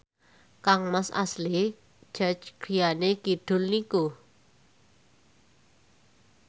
kangmas Ashley Judd griyane kidul niku